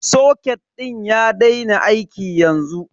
Soket din ya daina aiki yanzu.